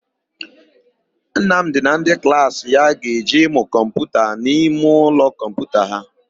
Nnamdị na ndị klaasị ya ga-eje ịmụ kọmputa n'imeụlọ kọmputa ha.